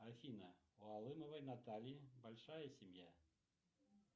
афина у алымовой натальи большая семья